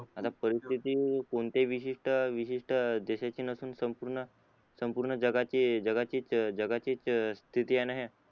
आता परिसस्थिती कोणत्या विशिष्ट विशिष्ट देशाची नसून संपूर्ण संपूर्ण जगाची जगाचीच जगाचीच स्तिथी आहे ना हे